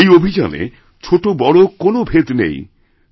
এই অভিযানে ছোটবড়কোন ভেদ নেই